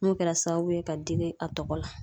N'o kɛla sababu ye ka digi a tɔgɔ la.